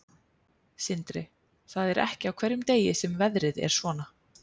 Sindri: Það er ekki á hverjum degi sem veðrið er svona?